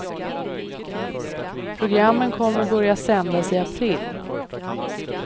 Programmen kommer börja sändas i april.